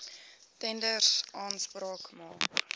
tenders aanspraak maak